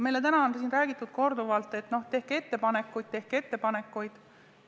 Meile on täna siin korduvalt räägitud, et tehke ettepanekuid ja tehke ettepanekuid.